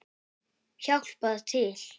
Hjálpað til!